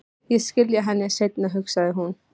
Ég skila henni seinna, hugsaði hún.